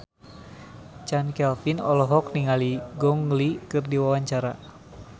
Chand Kelvin olohok ningali Gong Li keur diwawancara